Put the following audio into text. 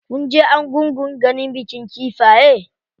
Kunje argungun ganin bikin kifaye?